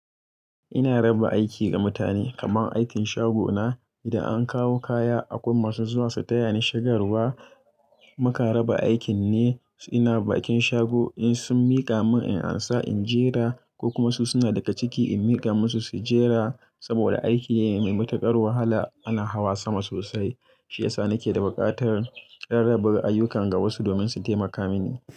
Ina raba aiki ga mutane kaman aikin shago na. Idan an kawo kaya akwai masu zuwa su taya ni shigarwa. Muka raba aikin ne. Ina bakin shago in sun mika mun in ansa in jera ko kuma su suna daga ciki in miƙa musu su jera. Saboda aiki ne mai matuƙar wahala ana hawa sama sosai shiyasa nake da buƙatar rarraba ayyukan ga wasu domin su taimaka mini.